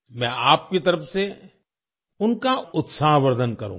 मैं आपकी तरफ से उनका उत्साहवर्धन करूंगा